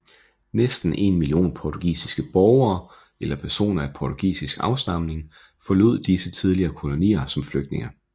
Næsten 1 million portugisiske borgere eller personer af portugisisk afstamning forlod disse tidligere kolonier som flygtninge